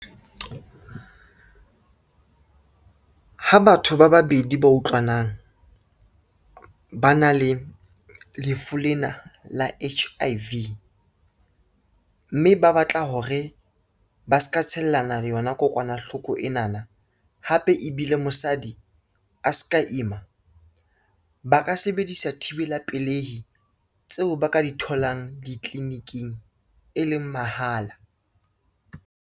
Ha batho ba babedi ba utlwanang, ba na le lefu lena la H_I_V, mme ba batla hore ba ska tshellana le yona kokwanahloko enana hape ebile mosadi a ska ima, ba ka sebedisa thibela pelehi tseo ba ka di tholang ditliliniking e leng mahala.